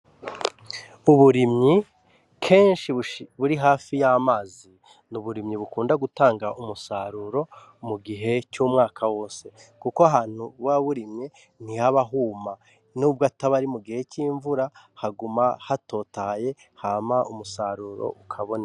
Uburimyi kenshi buri hafi y'amazi n'uburimyi bukunda gutanga umusaruro mugihe c'umwaka wose kuko ahantu buba burimye ntihaba huma nubwo ataba arimugihe c'imvura haguma hatotahaye hama umusaruro ukaboneka.